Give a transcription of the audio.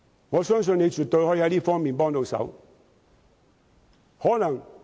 我相信司長絕對能在這方面提供協助。